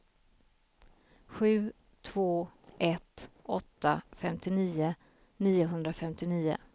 sju två ett åtta femtionio niohundrafemtionio